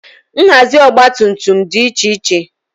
nhazi ọgba tum tum dị iche iche